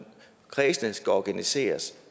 kredsene skal organiseres